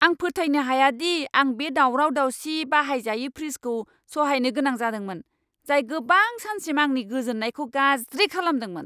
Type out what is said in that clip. आं फोथायनो हाया दि आं बे दावराव दावसि, बाहायजायै फ्रिजखौ सहायनो गोनां जादोंमोन, जाय गोबां सानसिम आंनि गोजोन्नायखौ गाज्रि खालामदोंमोन!